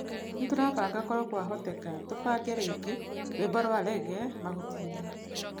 Nĩtũrabanga korwo kwahoteka tũbange rĩngĩ, rwĩmbo rwa rege, Mahutiinĩ.